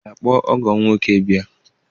Ị ga-akpọ ọgọ m nwoke bịa?